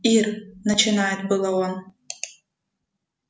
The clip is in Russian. ир начинает было он